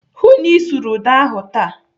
Hụụ na Ị sụrụ ụda ahụ taa!